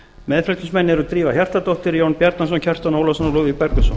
meðflutningsmenn eru drífa hjartardóttir jón bjarnason kjartan ólafsson og lúðvík bergvinsson